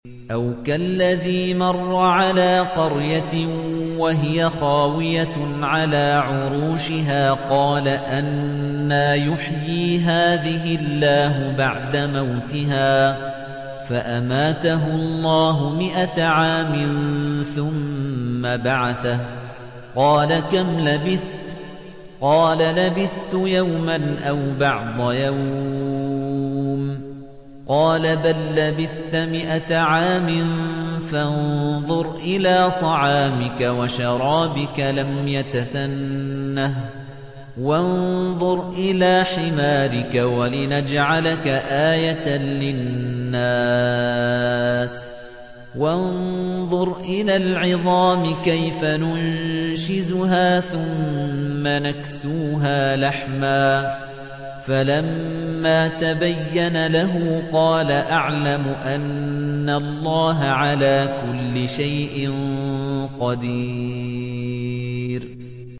أَوْ كَالَّذِي مَرَّ عَلَىٰ قَرْيَةٍ وَهِيَ خَاوِيَةٌ عَلَىٰ عُرُوشِهَا قَالَ أَنَّىٰ يُحْيِي هَٰذِهِ اللَّهُ بَعْدَ مَوْتِهَا ۖ فَأَمَاتَهُ اللَّهُ مِائَةَ عَامٍ ثُمَّ بَعَثَهُ ۖ قَالَ كَمْ لَبِثْتَ ۖ قَالَ لَبِثْتُ يَوْمًا أَوْ بَعْضَ يَوْمٍ ۖ قَالَ بَل لَّبِثْتَ مِائَةَ عَامٍ فَانظُرْ إِلَىٰ طَعَامِكَ وَشَرَابِكَ لَمْ يَتَسَنَّهْ ۖ وَانظُرْ إِلَىٰ حِمَارِكَ وَلِنَجْعَلَكَ آيَةً لِّلنَّاسِ ۖ وَانظُرْ إِلَى الْعِظَامِ كَيْفَ نُنشِزُهَا ثُمَّ نَكْسُوهَا لَحْمًا ۚ فَلَمَّا تَبَيَّنَ لَهُ قَالَ أَعْلَمُ أَنَّ اللَّهَ عَلَىٰ كُلِّ شَيْءٍ قَدِيرٌ